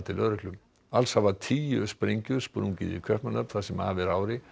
lögreglu alls hafa tíu sprengjur sprungið í Kaupmannahöfn það sem af er ári